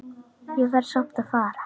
Ég verð samt að fara